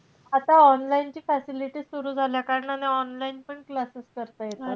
आता online ची facility सुरु झाल्या कारणाने online पण classes करता येतात.